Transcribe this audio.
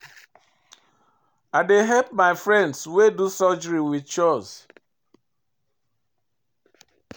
I dey help my friend wey do surgery wit chores.